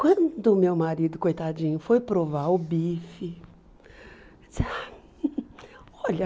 Quando meu marido, coitadinho, foi provar o bife, ele disse, ah olha...